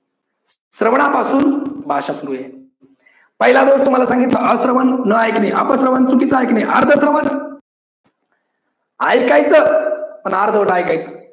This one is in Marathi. श्रवणापासून भाषा सुरु आहे. पहिला दोष तुम्हाला सांगितला अश्रवन न ऐकणे, अप श्रवण चुकीच ऐकणे, अर्ध श्रवण ऐकायचं पण अर्धवट ऐकायचं.